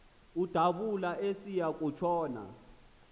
udabula esiya kutshona